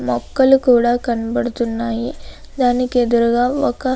మొక్కలు కూడా కనపడుతుంది. దాని ఎదురుగా ఒక పాడైపోయిన ఇల్లు మనకి కనబడుతుంది.